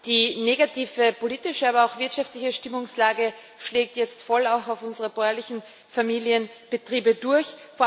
Die negative politische, aber auch wirtschaftliche Stimmungslage schlägt jetzt voll auch auf unsere bäuerlichen Familienbetriebe durch.